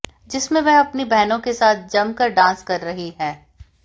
जिसमें वह अपनी बहनों के साथ जमकर डांस कर रही हैं